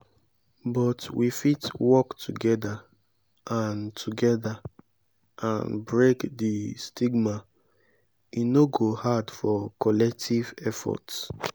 but we fit work together and together and break di stigma e no go hard for collective efforts.